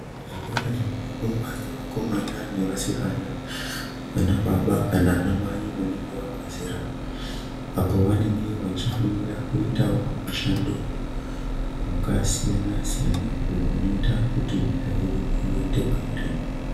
Zvikora zvinofundwa ngevakomana nevasikana ana baba kana ana Mai vanenge vabva zera apo vanenge veifundira kuti vazoitawo mishando wakasiyana siyana uyo inoita kuti nyika yedu iyende mberi .